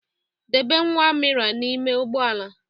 Debe nwa Amira n'ime ugbo ala.